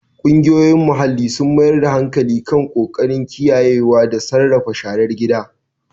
Ƙungiyoyin muhalli sun mayar da hankali kan ƙoƙarin kiyayewa da sarrafa sharar gida.